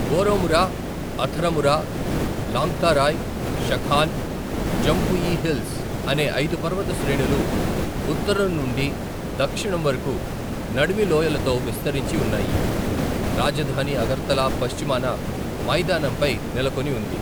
Baramura, Atharamura, Longtharai, Shakhan, Jampui hills అనే ఐదు పర్వత శ్రేణులు ఉత్తరం నుండి దక్షిణం వరకు నడిమి లోయలతో విస్తరించి ఉన్నాయి, రాజధాని అగర్తలా పశ్చిమాన మైదానం పై నెలకొని ఉంది.